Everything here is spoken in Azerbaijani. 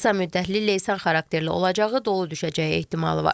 Qısa müddətli leysan xarakterli olacağı, dolu düşəcəyi ehtimalı var.